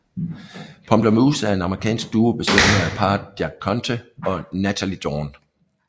Pomplamoose er en amerikansk duo bestående af parret Jack Conte og Nataly Dawn